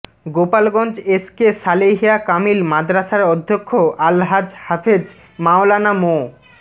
Gopalganj SK Salehia Kamil মাদ্রাসার অধ্যক্ষ আলহাজ্ব হাফেজ মাওলানা মো